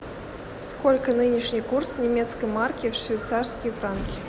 сколько нынешний курс немецкой марки в швейцарские франки